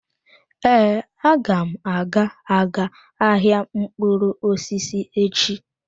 Ee, agam aga-aga ahịa mkpụrụ osisi echi.